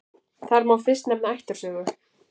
Þar má fyrst nefna ættarsögu.